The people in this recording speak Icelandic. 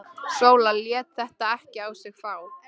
Sóla lét þetta ekki á sig fá.